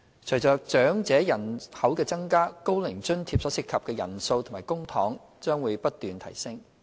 隨着長者人口增加，"高齡津貼"所涉及的人數及公帑將會不斷提升。